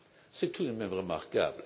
C'est tout de même remarquable!